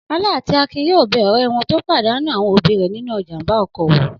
Ọlá àti Akin yóò bẹ ọ̀rẹ́ wọn tó pàdánù àwọn òbí rẹ̀ nínú ìjàm̀ba ọkọ̀ wò.